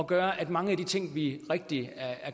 gøre at mange af de ting vi er rigtig